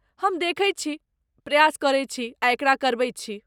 हम देखैत छी, प्रयास करैत छी आ एकरा करबैत छी।